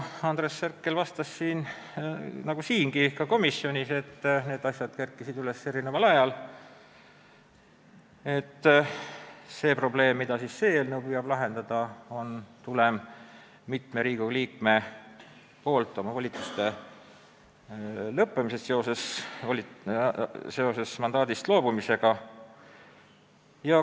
Andres Herkel vastas nagu siingi, et need probleemid kerkisid üles eri ajal ja et see probleem, mida täna arutatav eelnõu püüab lahendada, tuleneb mitme Riigikogu liikme volituste lõppemisest seoses mandaadist loobumisega.